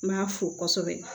N m'a fo kosɛbɛ